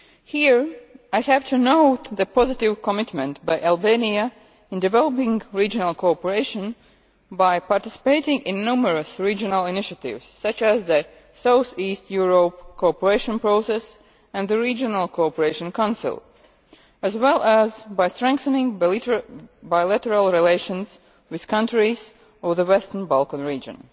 Here I have to note the positive commitment by Albania in developing regional cooperation by participating in numerous regional initiatives, such as the South East Europe Cooperation Process and the Regional Cooperation Council, as well as by strengthening bilateral relations with countries of the Western Balkan region.